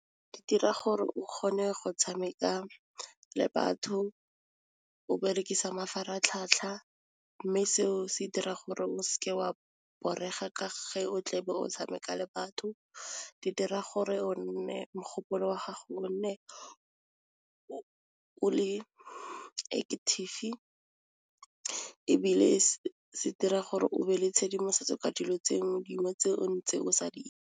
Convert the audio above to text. Di dira gore o kgone go tshameka le batho o berekisa mafaratlhatlha mme seo se dira gore o s'ke wa borega ka ge o tle be o tshameka le batho di dira gore o nne mogopolo wa gago o ne o o le active ebile se dira gore o be le tshedimosetso ka dilo tse dingwe tse o ntseng o sa di.